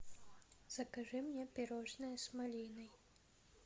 закажи мне пирожные с малиной